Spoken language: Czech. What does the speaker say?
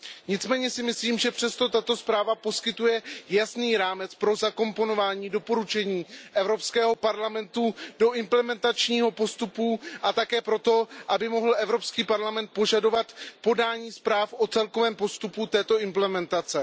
Nicméně si myslím, že přesto tato zpráva poskytuje jasný rámec pro zakomponování doporučení Evropského parlamentu do implementačního postupu a také pro to, aby mohl Evropský parlament požadovat podání zpráv o celkovém postupu této implementace.